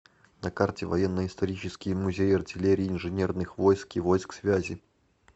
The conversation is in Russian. на карте военно исторический музей артиллерии инженерных войск и войск связи